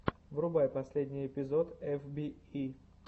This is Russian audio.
врубай последний эпизод эф би и